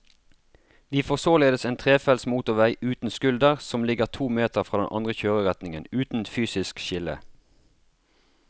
Vi får således en trefelts motorvei uten skulder som ligger to meter fra den andre kjøreretningen, uten fysisk skille.